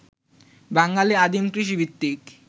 বাঙালী আদিম কৃষিভিত্তিক